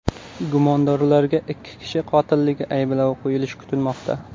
Gumondorlarga ikki kishi qotilligi ayblovi qo‘yilishi kutilmoqda.